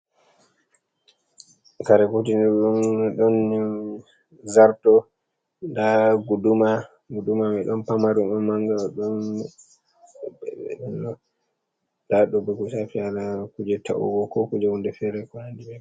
Kare kutinɗum. Ɗonne zarto. Ɗa guɗuma. Guɗuma mai ɗon pamaru, ɗon manga. Nɗa ɗo bo ko shafi hala kuje ta’uwo ko kuje wunɗe fere ko haɗi bemai.